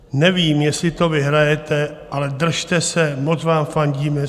Nevím, jestli to vyhrajete, ale držte se, moc vám fandíme.